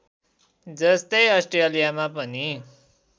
जस्तै अस्ट्रेलियामा पनि